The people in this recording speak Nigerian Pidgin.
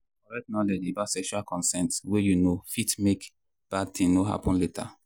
correct knowledge about sexual consent way you know fit help make bad thing no happen later.